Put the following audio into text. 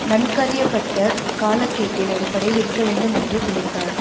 நன்கறியப்பட்ட காலக்கேட்டின் அடிப்படையில் இருக்க வேண்டும் என்று பிணைத்தார்